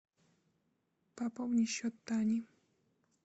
пополни счет тани